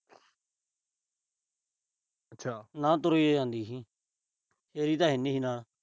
ਅੱਛਾ। ਤੁਰੀ ਜੇ ਜਾਂਦੀ ਸੀ। ਤਾਂ ਹੈ ਨਹੀਂ ਸੀ ਨਾਲ।